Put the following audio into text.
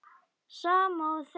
Sama og þegið!